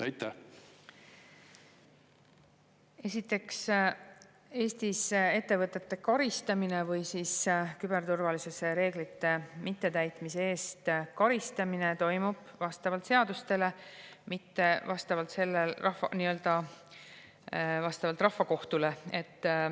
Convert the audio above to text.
Esiteks, Eestis ettevõtete karistamine või siis küberturvalisuse reeglite mittetäitmise eest karistamine toimub vastavalt seadustele, mitte vastavalt nii-öelda rahvakohtule.